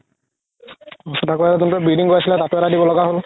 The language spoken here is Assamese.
তাৰ পাছত আকৌ যোনতোৰ bleeding হয় আছিলে তাতো এটা দিব লাগা হ'ল